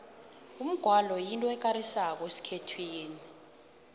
umgwalo yinto ekarisako esikhethwini